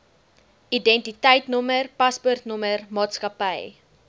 identiteitnommer paspoortnommer maatskappy